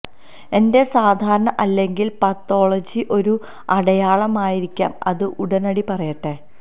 ന്റെ സാധാരണ അല്ലെങ്കിൽ പതോളജി ഒരു അടയാളം ആയിരിക്കാം അത് ഉടനടി പറയട്ടെ